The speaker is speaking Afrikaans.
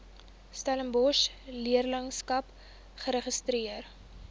setabefondse leerlingskappe geregistreer